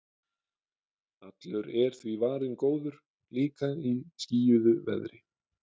Allur er því varinn góður, líka í skýjuðu veðri.